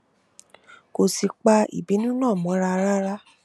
kò sì pa ìbínú náà mọra rárá